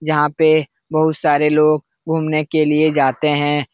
जहाँ पे बहुत सारे लोग घूमने के लिए जाते हैं।